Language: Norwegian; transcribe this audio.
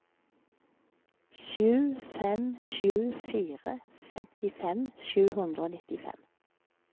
sju fem sju fire femtifem sju hundre og nittifem